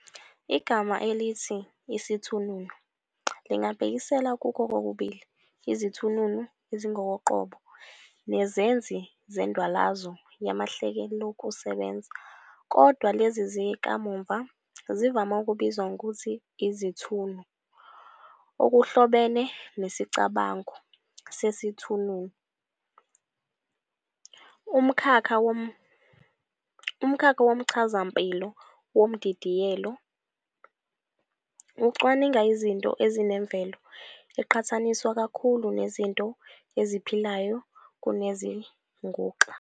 Igama elithi "isithununu" lingabhekisela kukho kokubili izithununu ezingokoqobo nezenzi zendwalazo yamahlelokusebenza, kodwa lezi zakamuva zivame ukubizwa ngokuthi iziThunu. Okuhlobene nesicabango "sesithununu" umkhakha womchazampilo womdidiyelo, ocwaninga izinto ezinemvelo eqhathaniswa kakhulu nezinto eziphilayo kunezinguxa.